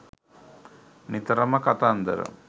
නිතරම කතන්දර